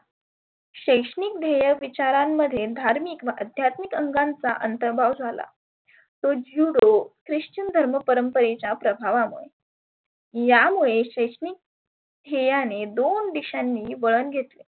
शैक्षणीक ध्येय विचारांमध्ये धार्मीक व अध्यात्मीक अंगांचा अंतरभाव झाला. तो ज्युडो ख्रिश्चन घर्माच्या परंपरेच्या प्रभावामुळे यामुळे शैक्षणीक ध्येयाने दोन दिशांनी वळन घेतले.